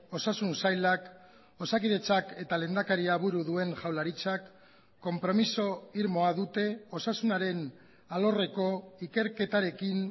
osasun sailak osakidetzak eta lehendakaria buru duen jaurlaritzak konpromiso irmoa dute osasunaren alorreko ikerketarekin